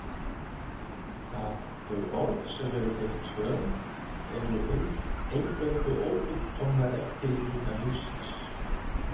Að þau orð sem eru þér töm eru eingöngu ófullkomnar eftirlíkingar lífsins.